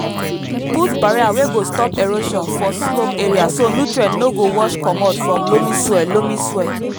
put barrier wey go stop erosion for slope area so nutrients no go wash comot from loamy soil loamy soil